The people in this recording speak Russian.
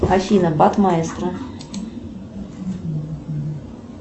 афина бат маэстро